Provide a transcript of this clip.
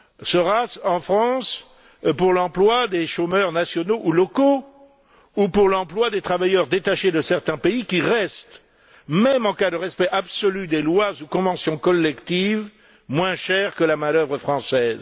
Sera ce en France pour l'emploi des chômeurs nationaux ou locaux ou pour l'emploi des travailleurs détachés de certains pays qui restent, même en cas de respect absolu des lois ou conventions collectives, moins chers que la main d'œuvre française?